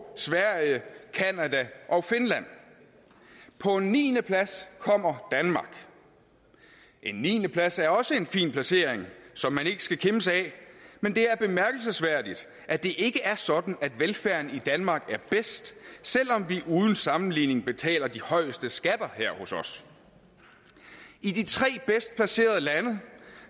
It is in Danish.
sverige canada og finland på en niendeplads kommer danmark en niendeplads er også en fin placering som man ikke skal kimse ad men det er bemærkelsesværdigt at det ikke er sådan at velfærden i danmark er bedst selv om vi uden sammenligning betaler de højeste skatter her hos os i de tre bedst placerede lande